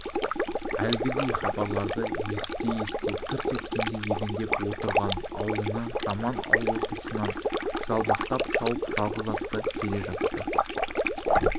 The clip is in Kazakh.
әлгіндей хабарларды есіте-есіте тырс еткенге елендеп отырған аулына мажан аулы тұсынан жалбақтап шауып жалғыз атты келе жатты